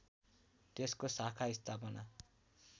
त्यसको शाखा स्थापना